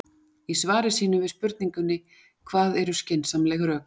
Í svari sínu við spurningunni Hvað eru skynsamleg rök?